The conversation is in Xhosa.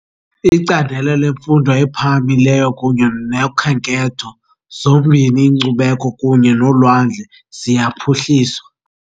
Icandelo lemfundo ephakamileyo kunye nokhenketho, zombini inkcubeko kunye nolwandle, ziyaphuhliswa .